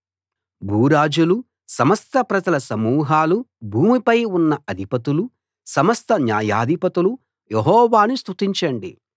భూరాజులూ సమస్త ప్రజల సమూహాలూ భూమిపై ఉన్న అధిపతులూ సమస్త న్యాయాధిపతులూ యెహోవాను స్తుతించండి